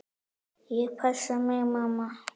Ég passa mig, mamma.